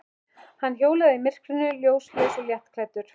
Hann hjólar í myrkrinu, ljóslaus og léttklæddur.